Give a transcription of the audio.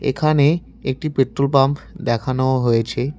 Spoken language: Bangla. এখানে একটি পেট্রোল পাম্প দেখানো হয়েছে।